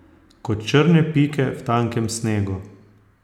Kot črne pike v tankem snegu.